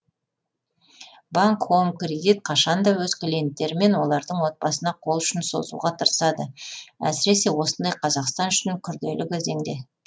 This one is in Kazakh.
банк хоум кредит қашанда өз клиенттері мен олардың отбасына қол ұшын созуға тырысады әсіресе осындай қазақстан үшін күрделі кезеңде